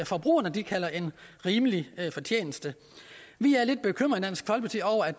forbrugerne kalder en rimelig fortjeneste vi